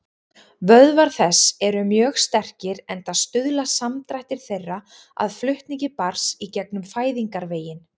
Vöðvar þess eru mjög sterkir, enda stuðla samdrættir þeirra að flutningi barns í gegnum fæðingarveginn.